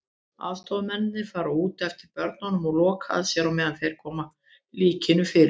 Aðstoðarmennirnir fara út eftir börum og loka að sér á meðan þeir koma líkinu fyrir.